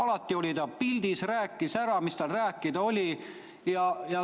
Ta oli alati pildis ja rääkis ära, mis tal rääkida oli.